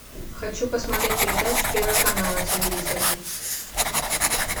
хочу посмотреть передачу первый канал на телевизоре